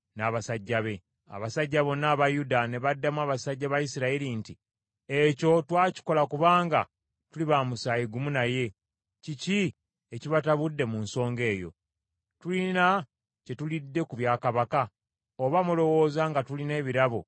Abasajja bonna aba Yuda ne baddamu abasajja ba Isirayiri nti, “Ekyo twakikola kubanga tuli ba musaayi gumu naye. Kiki ekibatabudde mu nsonga eyo? Tulina bye tulidde ku bya kabaka? Oba mulowooza nga tulina ebirabo bye tugabanye?”